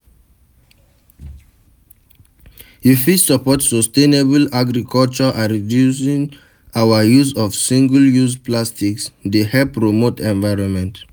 You fit support sustainable agriculture and reducing our use of single-use plastics dey help promote environment.